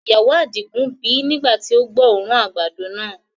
Ìyàwó adigun bì nigba ti o gbọ́ oòrùn àgbàdo náà.